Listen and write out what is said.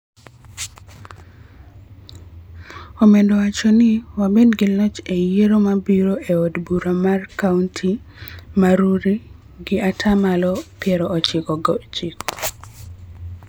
Omedo wacho ni, �Wabed gi loch e yiero mabiro e od bura markaonti ma Rurii gi ata malo piero ochiko gi ochiko